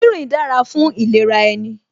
Rínrìn dára fún ìlera ẹni